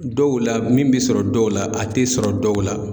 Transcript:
Dɔw la min be sɔrɔ dɔw la a te sɔrɔ dɔw la